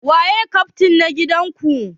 Waye kyaftin na gidan ku?